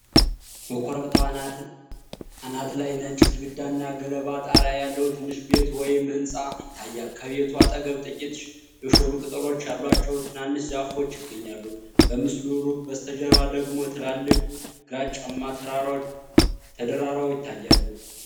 በኮረብታው አናት ላይ ነጭ ግድግዳና ገለባ ጣሪያ ያለው ትንሽ ቤት (ወይም ሕንጻ) ይታያል። ከቤቱ አጠገብ ጥቂት የሾሉ ቅጠሎች ያሏቸው ትናንሽ ዛፎች ይገኛሉ። በምስሉ ሩቅ በስተጀርባ ደግሞ ትላልቅ ግራጫማ ተራሮች ተደራርበው ይታያሉ።